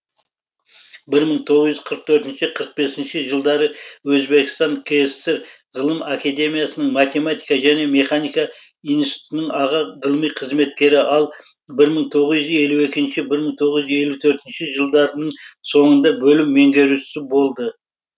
бір мың тоғыз жүз қырық төртінші қырық бесінші жылдары өзбекістан кср ғылым академиясының математика және механика институтының аға ғылыми қызметкері ал бір мың тоғыз жүз елу екінші бір мың тоғыз жүз елу төртінші жылдарының сонында бөлім меңгерушісі болды